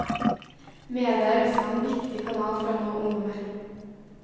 Media er også en viktig kanal for å nå ungdommer.